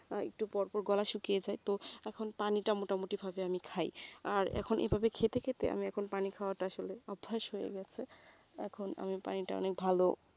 আহ একটু পর পর গলা শুকিয়ে যায় তো এখন পানিটা মোটামুটিভাবে আমি খাই আর এখন এভাবে খেতে খেতে আমি এখন পানি খাওয়াটা আসলে অভ্যেস হয়ে গেছে এখন আমি পানিটা অনেক ভালো